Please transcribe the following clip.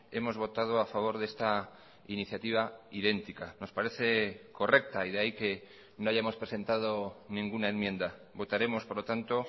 hemos votado a favor de esta iniciativa idéntica nos parece correcta y de ahí que no hayamos presentado ninguna enmienda votaremos por lo tanto